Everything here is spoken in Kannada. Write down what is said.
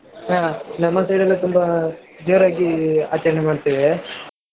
ಹ ನಮ್ಮ side ಅಲ್ಲಿ ತುಂಬಾ ಜೋರಾಗಿ ಆಚರಣೆ ಅಡ್ತೇವೆ.